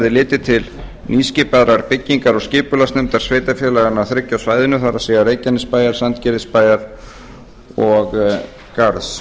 litið til nýskipaðrar byggingar og skipulagsnefndar sveitarfélaganna þriggja á svæðinu það er reykjanesbæjar sandgerðisbæjar og garðs